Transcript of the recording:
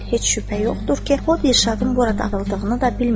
Heç şübhə yoxdur ki, o Dirşadın burada qaldığını da bilmir.